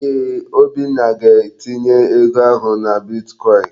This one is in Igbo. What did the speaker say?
Eeh, Obinna ga-etinye ego ahụ na bitkọin.